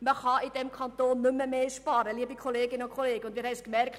Es lässt sich in diesem Kanton nicht noch mehr sparen, und wir haben es gemerkt: